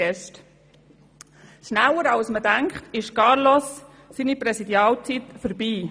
Schneller als man denkt, ist Carlos‘ Präsidialjahr verstrichen.